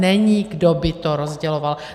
Není, kdo by to rozděloval.